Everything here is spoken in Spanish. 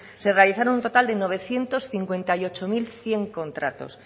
se realizaron un total de novecientos cincuenta y ocho mil cien contratos